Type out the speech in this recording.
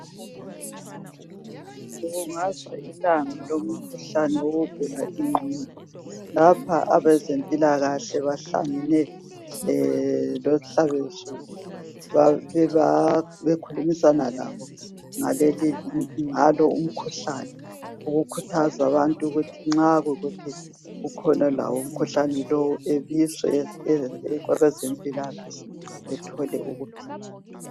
Kubukazwa Ilanga lomkhuhlane wokugula ingqondo. Lapha abezempilakahle, bahlangene lohlabezulu. Bekhulumisana labo ngalo umkhuhlane. Ukukhuthaza abantu ukuthi nxa ekhona umuntu olawo umkhuhlane lo. Ebizwe kwabezempilakahle, ethole ukuphila.